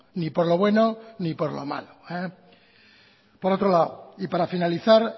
ni por lo bueno ni por lo malo por otro lado y para finalizar